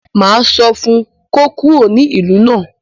Máa sọ fún un kó kúrò ní ìlú náà.